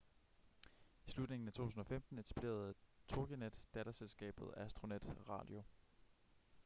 i slutningen af 2015 etablerede toginet datterselskabet astronet radio